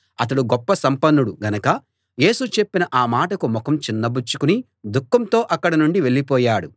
అతడు గొప్ప సంపన్నుడు గనక యేసు చెప్పిన ఆ మాటకు ముఖం చిన్నబుచ్చుకుని దుఃఖంతో అక్కడ నుండి వెళ్ళిపోయాడు